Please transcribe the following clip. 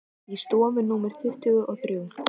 Í stofu númer tuttugu og þrjú.